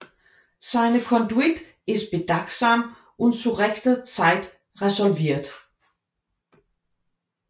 Seine Conduite ist bedachtsam und zu rechter Zeit resolvirt